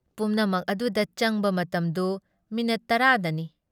ꯄꯨꯝꯅꯃꯛ ꯑꯗꯨꯗ ꯆꯪꯕ ꯃꯇꯝꯗꯨ ꯃꯤꯅꯤꯠ ꯇꯔꯥꯗꯅꯤ ꯫